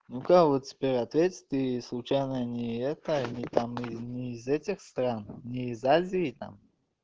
ну-ка вот теперь ответь ты случайно не это не там не из этих стран не из азии там